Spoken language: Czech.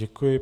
Děkuji.